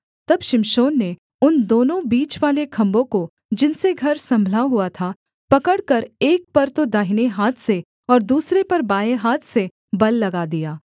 तब शिमशोन ने उन दोनों बीचवाले खम्भों को जिनसे घर सम्भला हुआ था पकड़कर एक पर तो दाहिने हाथ से और दूसरे पर बाएँ हाथ से बल लगा दिया